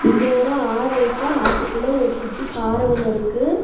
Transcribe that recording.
இங்க ஒரு ஆறு இருக்கு ஆத்துக்குள்ள ஒரு குட்டி பாற ஒன்னு இருக்கு.